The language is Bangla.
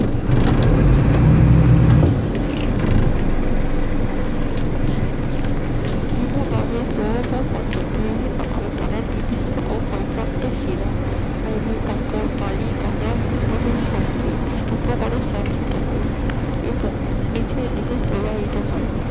হিমবাহের প্রবাহ পথে বিভিন্ন রকমের ক্ষয় যুক্ত শিলা নুড়ি কাকর বালি কাদা সঙ্গে স্থানচ্যুত হয় এবং নিচের দিকে প্রবাহিত হয়